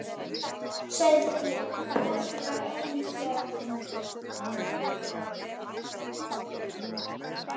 Sauðféð og fólkið var ein hjörð.